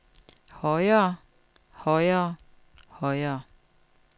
højere højere højere